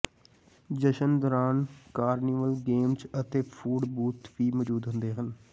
ਜਸ਼ਨ ਦੌਰਾਨ carnival games ਅਤੇ ਫੂਡ ਬੂਥ ਵੀ ਮੌਜੂਦ ਹੁੰਦੇ ਹਨ